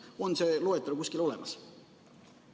On see loetelu kuskil olemas?